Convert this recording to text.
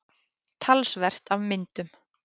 Talsvert af myndum.